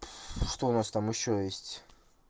ну что у нас там ещё есть